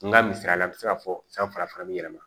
N ka misaliya la n bɛ se ka fɔ san farafana bɛ yɛlɛma